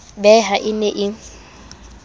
be ha e ne e